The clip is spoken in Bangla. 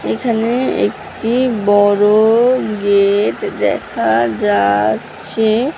এখানে একটি বড়-ও গেট দেখা যা-আচ্ছে--